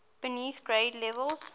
beneath grade levels